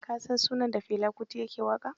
Ka san sunan dan Fela Kuti da ya ke waƙa?